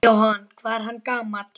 Jóhann: Hvað er hann gamall?